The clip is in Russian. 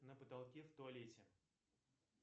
на потолке в туалете